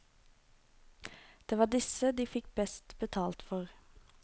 Det var disse de fikk best betalt for.